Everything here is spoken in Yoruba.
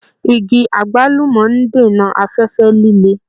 Igi àgbúlùmọ́ ń dènà afẹ́fẹ́ líle